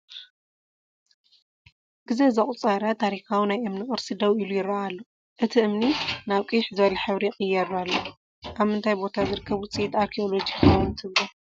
ጊዜ ዘቑፀረ ታሪካዊ ናይ እምኒ ቅርሲ ደው ኢሉ ይረአ ኣሎ፡፡ እቲ እምኒ ናብ ቅይሕ ዝበለ ሕብሪ ይቕየር ኣሎ፡፡ ኣብ ምንታይ ቦታ ዝርከብ ውፅኢት ኣርኪኤሎጂ ይኸውን ትብሉ?